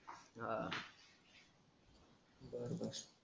हाआ